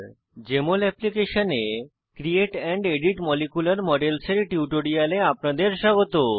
JML অ্যাপ্লিকেশনে create and edit molecular models এর টিউটোরিয়ালে আপনাদের স্বাগত